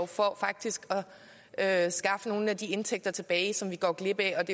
for faktisk at skaffe nogle af de indtægter tilbage som vi går glip af